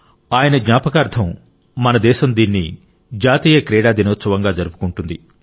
ఆయన జ్ఞాపకార్థం మన దేశం దీన్ని జాతీయ క్రీడా దినోత్సవంగా జరుపుకుంటుంది